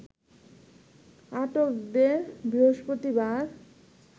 আটকদের বৃহস্পতিবার